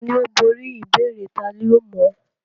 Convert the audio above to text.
Tani ó borí ìbéèrè tani ó mọ̀ án?